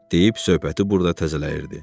Deyib söhbəti burda təzələyirdi.